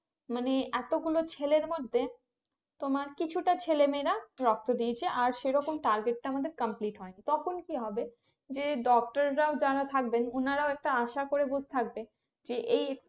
মানে এতগুলো ছেলের মধ্যে তোমার কিছুটা ছেলে মেয়েরা রক্ত দিয়েছে আর সেরকম target টা আমাদের complete হয়নি তখন কি হবে যে doctor রা যারা থাকবেন ওনারাও একটা আসা করে থাকবে যে এই